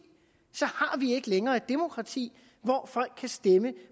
så har vi ikke længere et demokrati hvor folk kan stemme